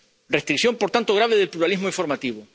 restricción, por tanto, grave del pluralismo informativo.